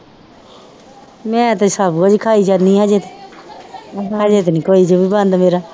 ਮੈਂ ਤੇ ਸਭ ਕੁਛ ਹੀ ਖਾਈ ਜਾਂਦੀ ਹਜੇ ਹਜੇ ਤਾਂ ਨੀ ਕੋਈ